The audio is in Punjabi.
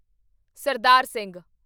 ਸਰਦਾਰ ਸਿੰਘ